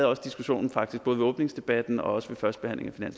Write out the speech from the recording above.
også diskussionen både ved åbningsdebatten og ved førstebehandlingen af